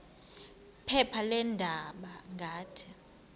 phepha leendaba ngathi